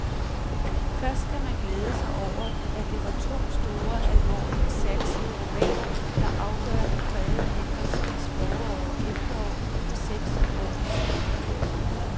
Først kan man glæde sig over, at det var to store, alvorligt satsede romaner, der afgørende prægede henholdsvis forår og efterår for seks år siden.